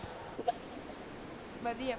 ਬਦਿਆ ਆ ਭੈਣੇ ਤੂੰ ਦਸ